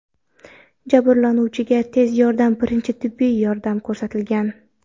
Jabrlanuvchiga tez yordam birinchi tibbiy yordam ko‘rsatgan.